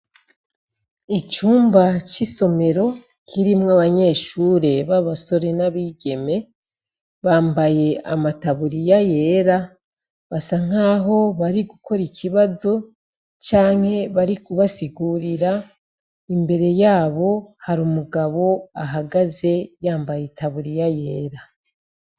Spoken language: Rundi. Icumba c'isomero, kirimwo abanyeshure ba basore n'abigeme, bambaye ama taburiya yera basa nkaho bari gukora ikibazo canke bari kubasigurira ,imbere yabo har’umugabo ahagaze yambaye i taburiya yera.